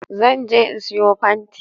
Zan je in siyo fanti